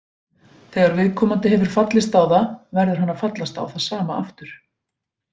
Þegar viðkomandi hefur fallist á það verður hann að fallast á það sama aftur.